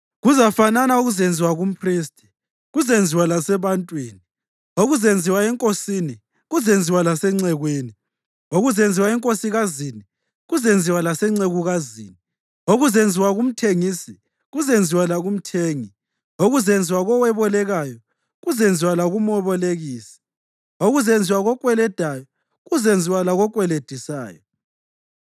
Kuzafanana okuzenziwa kumphristi kuzenziwa lasebantwini, okuzenziwa enkosini kuzenziwa lasencekwini, okuzenziwa enkosikazini kuzenziwa lasencekukazini, okuzenziwa kumthengisi kuzenziwa lakumthengi, okuzenziwa kowebolekayo kuzenziwa lakumebolekisi, okuzenziwa kokweledayo kuzenziwa lakokweledisayo.